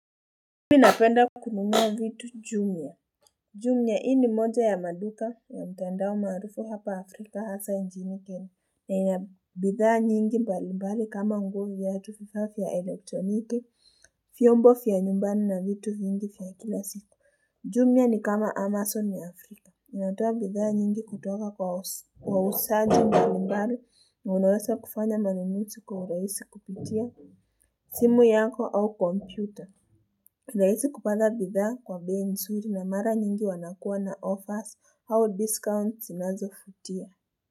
Mi napenda kununua vitu jumia. Jumia hii ni moja ya maduka ya mtandao maarufu hapa Afrika hasa nchini Kenya. Na ina bidhaa nyingi mbalimbali kama unguo viatu vifaa vya kielektroniki, fyombo fya nyumbani na vitu vingi fya kila siku. Jumia ni kama Amazon ya Afrika. Inatoa bidhaa nyingi kutoka kwa wausaji mbalimbali na unawesa kufanya manunusi kwa urahisi kupitia simu yako au kompyuta. Kupata bidhaa kwa bei nsuri na mara nyingi wanakuwa na offers au Discount sinazofutia.